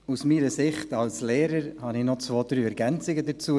Aus meiner Sicht als Lehrer habe ich noch zwei, drei Ergänzungen dazu.